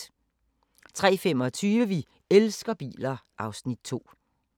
03:25: Vi elsker biler (Afs. 2)